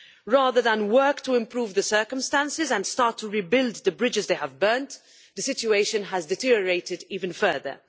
Rather than work to improve the circumstances and start to rebuild the bridges they have burnt, the situation has deteriorated even further.